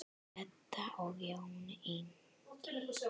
Edda og Jón Ingi.